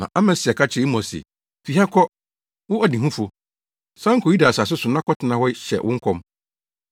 Na Amasia ka kyerɛɛ Amos se, “Fi ha kɔ, wo ɔdehufo! San kɔ Yuda asase so na kɔtena hɔ hyɛ wo nkɔm.